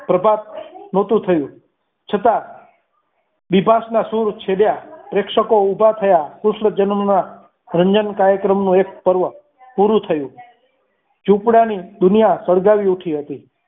પ્રભાત નહોતું થયું છતાં બિભાસના સુર છે ત્યાં પ્રેક્ષકો ઉભા થયા કૃષ્ણ જન્મના રંજન કાર્ય ક્રમનું એક પર્વ પૂરું થયું ઝૂંપડાની દુનિયા સળગાવી ઉઠી હતી.